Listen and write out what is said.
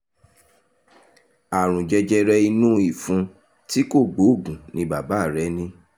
àrùn jẹjẹrẹ inú ìfun tí kò gbóògùn ni bàbá rẹ ní